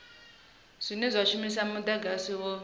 dzine dza shumisa mudagasi wo